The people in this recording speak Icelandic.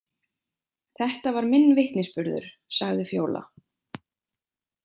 Þetta var minn vitnisburður, sagði Fjóla.